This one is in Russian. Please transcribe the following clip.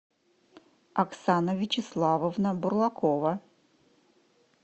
оксана вячеславовна бурлакова